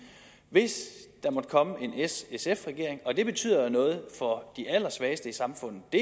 hvis der måtte komme en s sf regering og det betyder noget for de allersvageste i samfundet det